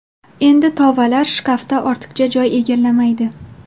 Endi tovalar shkafda ortiqcha joy egallamaydi”.